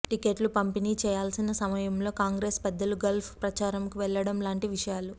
టిక్కెట్లు పంపిణీ చేయాల్సిన సమయంలో కాంగ్రెస్ పెద్దలు గల్ఫ్ ప్రచారంకు వెళ్ళడంలాంటి విషయాలు